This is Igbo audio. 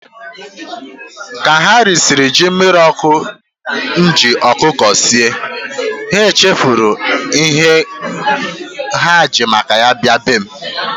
Ka ha risiri jí mmiri okụ e jì ọkụkọ sie, ha chefuru ihe ha jì maka ya bịa be m.